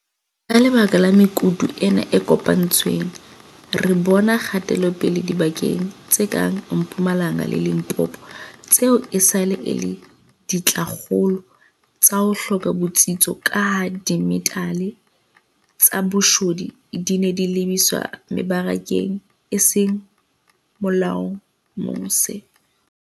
Ka lebaka la mekutu ena e kopanetsweng, re bona kgatelopele dibakeng tse kang Mpumalanga le Limpopo tseo esale e le dintlhakgolo tsa ho hloka botsitso kaha dimetale tsa boshodu di ne di lebiswa mebarakeng e seng molaong mose.